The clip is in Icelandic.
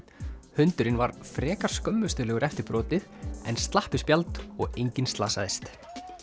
hundurinn var frekar skömmustulegur eftir brotið en slapp við spjald og enginn slasaðist